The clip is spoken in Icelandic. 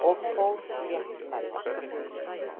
og fór létt með það.